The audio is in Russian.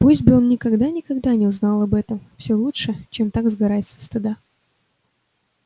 пусть бы он никогда-никогда не узнал об этом все лучше чем так сгорать со стыда